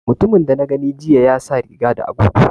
Mutumin da na gani jiya ya sa riga da agogo